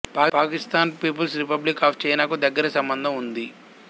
Pakistan people's republic of చైనాకు దగ్గరి సంబంధము ఉంది